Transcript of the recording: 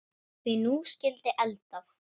Því nú skyldi eldað.